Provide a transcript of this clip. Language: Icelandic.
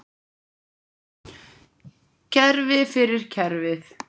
Kerfi fyrir kerfið?